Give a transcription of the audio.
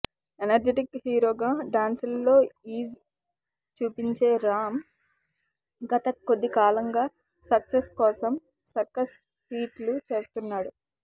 energetic హీరోగా dance లలో ease చూపించే రామ్ గత కొంతకాలంగా సక్సెస్ కోసం సర్కస్ ఫీట్లు చేస్తున్నాడు